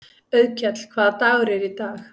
Auðkell, hvaða dagur er í dag?